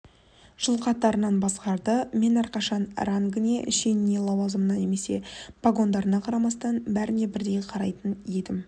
жыл қатарынан басқарды мен әрқашан рангыне шеніне лауазымына немесе погондарына қарамастан бәріне бірдей қарайтын едім